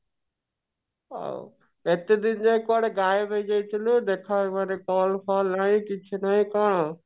ଏତେ ଦିନ ଯାଏ କୁଆଡେ ଗାଏବ ହେଇ ଯାଇଥିଲୁ ଦେଖା ଉପରେ call ଫଲ୍ ନାହିଁ କିଛି ନାହିଁ କଣ